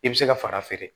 I bɛ se ka fara feere